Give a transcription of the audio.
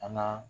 An ka